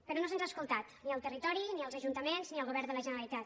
però no se’ns ha escoltat ni al territori ni als ajuntaments ni al govern de la generalitat